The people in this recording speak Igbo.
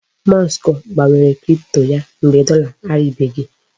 Musk gbanwere cripto ya mgbe dọla aribeghị.